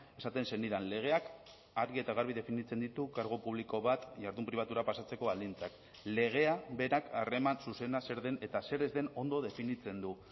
esaten zenidan legeak argi eta garbi definitzen ditu kargu publiko bat jardun pribatura pasatzeko baldintzak legea berak harreman zuzena zer den eta zer ez den ondo definitzen du